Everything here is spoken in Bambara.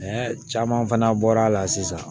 caman fana bɔra sisan